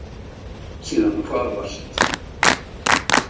Síðan hvarf allt.